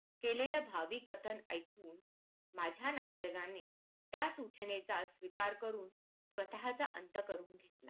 केलेले भावी कथन ऐकून माझ्या नातलगाने त्या सूचनेचा स्वीकार करून स्वतःचा अंत करून घेतला